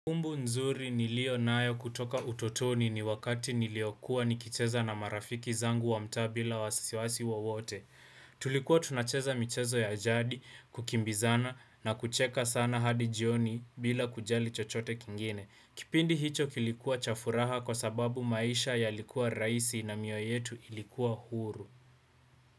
Kumbu nzuri niliyo nayo kutoka utotoni ni wakati niliokua nikicheza na marafiki zangu wa mtaa bila wasisiwasi wowote. Tulikuwa tunacheza michezo ya ajadi kukimbizana na kucheka sana hadi jioni bila kujali chochote kingine. Kipindi hicho kilikuwa cha furaha kwa sababu maisha yalikuwa rahisi na mioyo yetu ilikuwa huru.